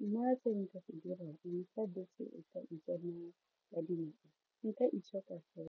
nako nna se nka se dirang fa nka itshoka fela.